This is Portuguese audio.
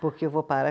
Porque eu vou parar.